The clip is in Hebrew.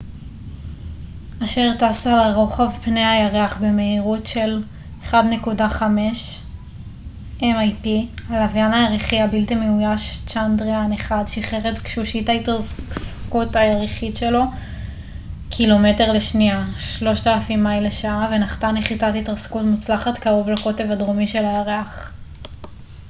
הלווין הירחי הבלתי מאויש צ'אנדריאן-1 שחרר את גשושית ההתרסקות הירחית שלו mip אשר טסה לרוחב פני הירח במהירות של 1.5 קילומטר לשנייה 3000 מייל לשעה ונחתה נחיתת התרסקות מוצלחת קרוב לקוטב הדרומי של הירח